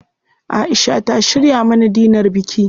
Aisha ta shirya mana dinar biki.